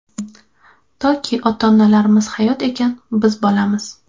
Toki ota-onalarimiz hayot ekan, biz bolamiz!.